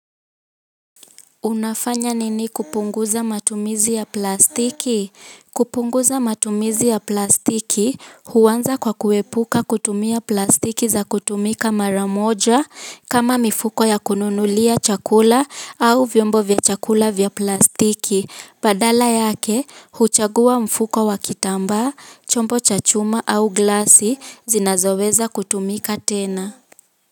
Unafanya nini kupunguza matumizi ya plastiki? Kupunguza matumizi ya plastiki, huanza kwa kuepuka kutumia plastiki za kutumika mara moja, kama mifuko ya kununulia chakula, au vyombo vya chakula vya plastiki. Badala yake, huchagua mfuko wa kitambaa, chombo cha chuma au glasi, zinazoweza kutumika tena.